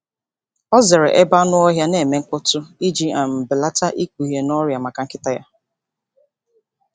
Ọ zere ebe anụ ọhịa na-eme mkpọtụ iji um belata ikpughe n’ọrịa maka nkịta ya.